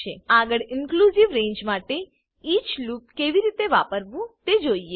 આગળ inclusive range માટેeach loop કેવી રીતે વાપરવું તે જોઈએ